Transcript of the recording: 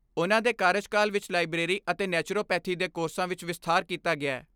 ਉਨ੍ਹਾਂ ਦੇ ਕਾਰਜਕਾਲ ਵਿਚ ਲਾਈਬਰੇਰੀ ਅਤੇ ਨੈਚੁਰਲਪੈਥੀ ਦੇ ਕੋਰਸਾਂ ਵਿਚ ਵਿਸਥਾਰ ਕੀਤਾ ਗਿਐ।